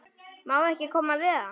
Má ekki koma við hann?